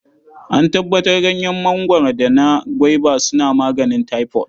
An tabbatar Ganyen mangwaro da na gwaiba suna maganin taifot.